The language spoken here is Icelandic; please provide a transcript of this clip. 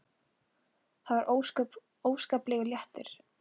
Það var óskaplegur léttir.